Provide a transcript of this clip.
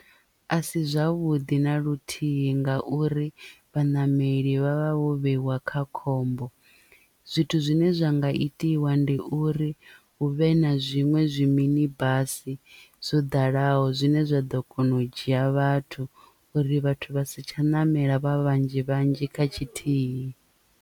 A si zwavhuḓi na luthihi nga uri vhaṋameli vhavha vho vheiwa kha khombo zwithu zwine zwa nga itiwa ndi uri hu vhe na zwiṅwe zwi mini basi zwo ḓalaho zwine zwa ḓo kona u dzhia vhathu uri vhathu vha si tsha ṋamela vha vhanzhi vhanzhi kha tshithihi.